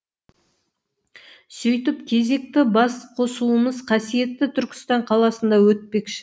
сөйтіп кезекті басқосуымыз қасиетті түркістан қаласында өтпекші